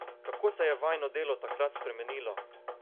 Kako se je vajino delo takrat spremenilo?